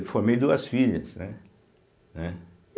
Eu formei duas filhas, né, né.